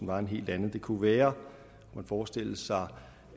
var en helt anden det kunne være at man forestillede sig